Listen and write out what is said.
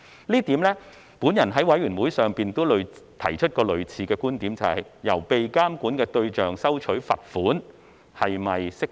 就此，我在法案委員會上也曾提出類似觀點，就是向被監管的對象收取罰款是否適當。